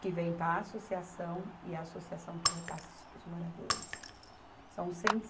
que vem para a associação e a associação que repassa isso para os moradores. São cento e